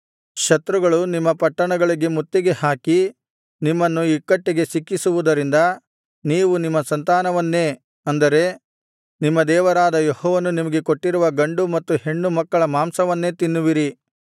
ಶತ್ರುಗಳು ನಿಮ್ಮ ಪಟ್ಟಣಗಳಿಗೆ ಮುತ್ತಿಗೆ ಹಾಕಿ ನಿಮ್ಮನ್ನು ಇಕ್ಕಟ್ಟಿಗೆ ಸಿಕ್ಕಿಸುವುದರಿಂದ ನೀವು ನಿಮ್ಮ ಸಂತಾನವನ್ನೇ ಅಂದರೆ ನಿಮ್ಮ ದೇವರಾದ ಯೆಹೋವನು ನಿಮಗೆ ಕೊಟ್ಟಿರುವ ಗಂಡು ಮತ್ತು ಹೆಣ್ಣು ಮಕ್ಕಳ ಮಾಂಸವನ್ನೇ ತಿನ್ನುವಿರಿ